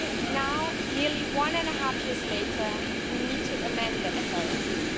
Now, nearly one and a half years later, we need to amend the SRSP.